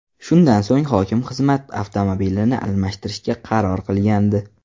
Shundan so‘ng hokim xizmat avtomobilini almashtirishga qaror qilgandi .